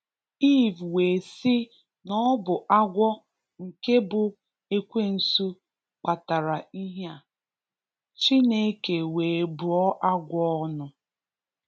Eve wee si n'ọbụ agwọ nke bu ekwensu kpatara ihe a. Chineke wee bụọ agwọ ọnụ.